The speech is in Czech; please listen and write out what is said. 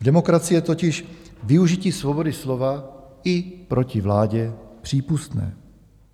V demokracii je totiž využití svobody slova i proti vládě přípustné.